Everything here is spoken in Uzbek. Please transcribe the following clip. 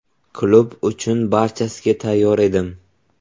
Klub uchun barchasiga tayyor edim.